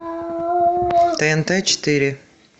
тнт четыре